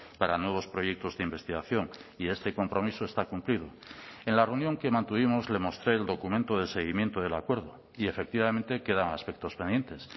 para nuevos proyectos de investigación y este compromiso está cumplido en la reunión que mantuvimos le mostré el documento de seguimiento del acuerdo y efectivamente quedan aspectos pendientes